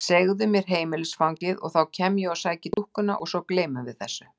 Segðu mér heimilisfangið og þá kem ég og sæki dúkkuna og svo gleymum við þessu.